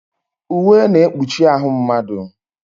Uwe na-ekpuchi ahụ mmadụ.